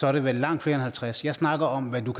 er det vel langt flere end halvtreds jeg snakker om hvad du